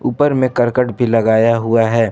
पर में करकट भी लगाया हुआ है।